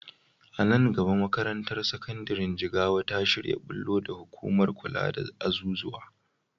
A nan gaba makarantar sakandiren Jigawa ta shirya ɓullo da hukumar kula da azuzuwa.